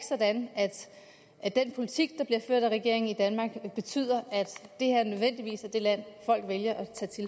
sådan at den politik der bliver ført af regeringen i danmark betyder at danmark nødvendigvis er det land folk vælger